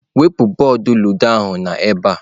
Wepụ bọọdụ ludo ahụ n'ebe a!.